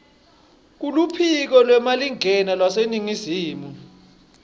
kuluphiko lwemalingena lwaseningizimu